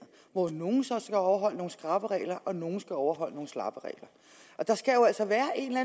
hvor nogle så skal overholde nogle skrappe regler og nogle skal overholde nogle slappe regler og der skal jo altså være en eller